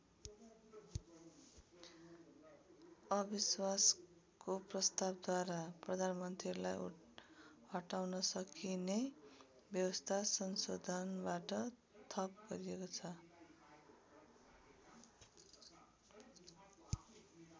अविश्वासको प्रस्तावद्वारा प्रधानमन्त्रीलाई हटाउन सकिने व्यवस्था संशोधनबाट थप गरिएको छ।